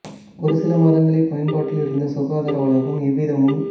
ஒரு சில மாதங்களே பயன்பாட்டில் இருந்த சுகாதார வளாகம் எவ்வித முன்